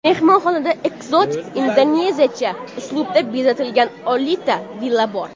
Mehmonxonada ekzotik indoneziyacha uslubda bezatilgan oltita villa bor.